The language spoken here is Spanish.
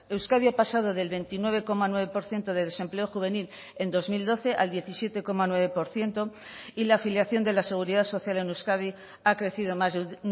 euskadi ha pasado del veintinueve coma nueve por ciento de desempleo juvenil en dos mil doce al diecisiete coma nueve por ciento y la afiliación de la seguridad social en euskadi ha crecido más de un